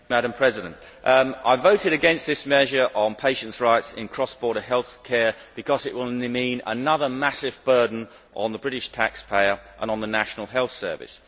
Madam President, I voted against this measure on patients' rights in cross border healthcare because it will only mean another massive burden on the British taxpayer and on the National Health Service.